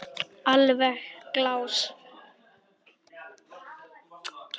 Alveg glás.